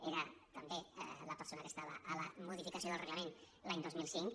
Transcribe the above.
era també la persona que estava a la modificació del reglament l’any dos mil cinc